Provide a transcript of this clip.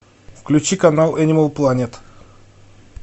включи канал энимал планет